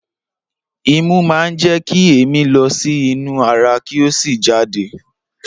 Imú máa ń jẹ kí èémí lọ sí inú ara kí ó sì jáde.